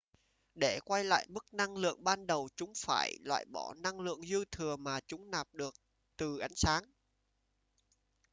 để quay lại mức năng lượng ban đầu chúng phải loại bỏ năng lượng dư thừa mà chúng nạp được từ ánh sáng